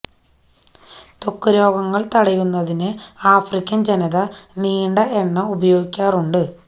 ത്വക്ക് രോഗങ്ങൾ തടയുന്നതിന് ആഫ്രിക്കൻ ജനത നീണ്ട എണ്ണ ഉപയോഗിക്കാറുണ്ട്